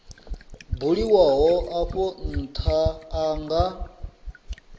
buliwaho afho ntha a nga